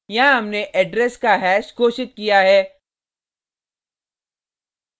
यहाँ हमने एड्रेस का हैश घोषित किया है